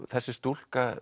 þessi stúlka